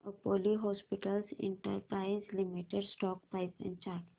Apollo hospitals enterprise limited stock price and chart